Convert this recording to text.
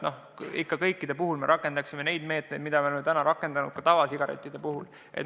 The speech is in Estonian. Ikka kõikide puhul võiks rakendada neid meetmeid, mida me oleme rakendanud tavasigarettide puhul.